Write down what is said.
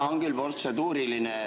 Jaa, on küll protseduuriline.